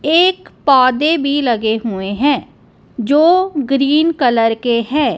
एक पौधे भी लगे हुए हैं जो ग्रीन कलर के हैं।